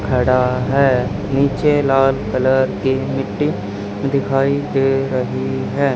खड़ा है नीचे लाल कलर की मिट्टी दिखाई दे रही है।